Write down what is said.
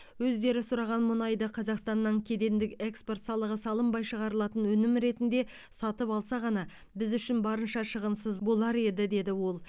өздері сұраған мұнайды қазақстаннан кедендік экспорт салығы салынбай шығарылатын өнім ретінде сатып алса ғана біз үшін барынша шығынсыз болар еді деді ол